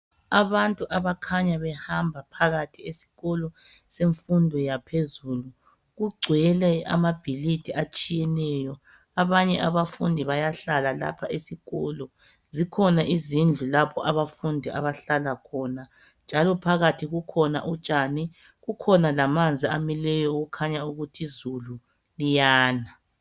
Abantu abakhanya behamba phakathi esikolo semfundo yaphezulu kugcwele amabhilidi atshiyeneyo abanye abafundi bayahlala lapha esikolo zikhona izindlu lapha abafundi abahlala khona njalo phakathi kukhona utshani kukhona lamanzi amileyo okukhanya ukuthi izulu liyana.